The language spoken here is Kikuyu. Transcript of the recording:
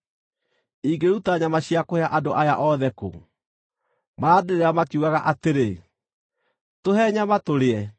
Ingĩruta nyama cia kũhe andũ aya othe kũ? Marandĩrĩra makiugaga atĩrĩ, ‘Tũhe nyama tũrĩe!’